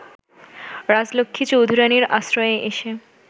রাজলক্ষ্মী চৌধুরানীর আশ্রয়ে এসে